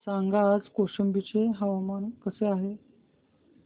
सांगा आज कौशंबी चे हवामान कसे आहे